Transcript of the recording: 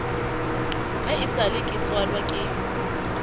ha esale ke tswalwa ke